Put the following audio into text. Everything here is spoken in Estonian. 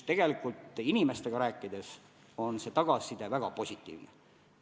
Kui inimestega rääkida, on tagasiside väga positiivne.